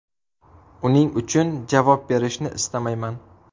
Uning uchun javob berishni istamayman.